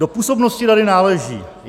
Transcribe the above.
Do působnosti rady náleží: